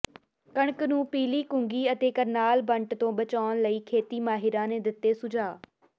ਕਣਕ ਨੂੰ ਪੀਲੀ ਕੁੰਗੀ ਅਤੇ ਕਰਨਾਲ ਬੰਟ ਤੋਂ ਬਚਾਉਣ ਲਈ ਖੇਤੀ ਮਾਹਿਰਾਂ ਨੇ ਦਿੱਤੇ ਸੁਝਾਅ